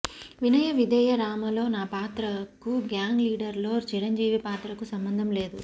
వినయ విధేయ రామలో నా పాత్రకు గ్యాంగ్ లీడర్ లో చిరంజీవి పాత్రకు సంబంధం లేదు